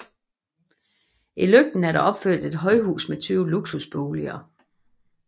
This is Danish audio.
I Løgten er der opført et højhus med 20 luksusboliger